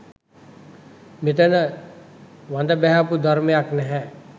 මෙතන වඳ බැහැපු ධර්මයක් නැහැ